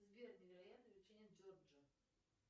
сбер невероятные приключения джорджа